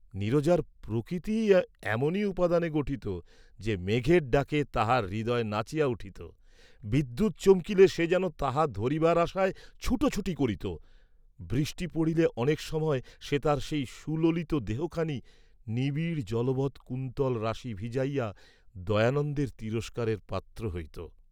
নীরজার প্রকৃতিই এমনি উপাদানে গঠিত যে মেঘের ডাকে তাহার হৃদয় নাচিয়া উঠিত, বিদ্যুৎ চমকিলে সে যেন তাহা ধরিবার আশায় ছুটোছুটি করিত, বৃষ্টি পড়িলে অনেক সময় সে তাহার সেই সুললিত দেহ খানি, নিবিড় জলবৎ কুন্তলরাশি ভিজাইয়া দয়ানন্দের তিরস্কাবের পাত্র হইত।